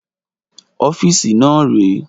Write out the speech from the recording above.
ọ́fíìsì náà rèé